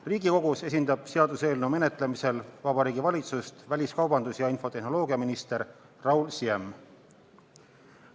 Riigikogus seaduseelnõu menetlemisel esindab Vabariigi Valitsust väliskaubandus- ja infotehnoloogiaminister Raul Siem.